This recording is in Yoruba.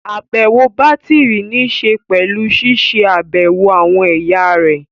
Àbẹ̀wò bátìrì níṣe pẹ̀lú ṣiṣẹ́ àbẹ̀wò àwọn ẹ̀yà rẹ̀